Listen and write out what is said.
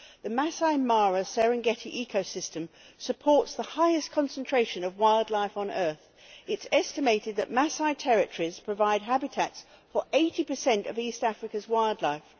The Masai Mara Serengeti ecosystem supports the highest concentration of wildlife on earth. It is estimated that Masai territories provide habitats for 80 of East Africa's wildlife.